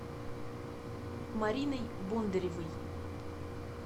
мариной бондаревой